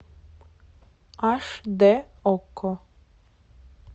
аш д окко